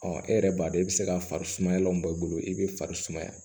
Ɔ e yɛrɛ b'a dɔn i bɛ se ka fari sumayalan bɔ i bolo i bɛ fari sumaya